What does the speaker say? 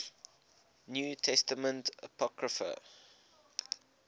new testament apocrypha